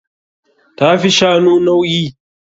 Ta fi shanu nauyi.